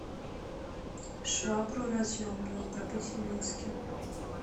швабру разъемную купить в минске